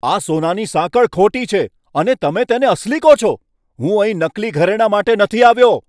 આ સોનાની સાંકળ ખોટી છે અને તમે તેને અસલી કહો છો? હું અહીં નકલી ઘરેણાં માટે નથી આવ્યો!